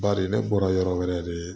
Bari ne bɔra yɔrɔ wɛrɛ de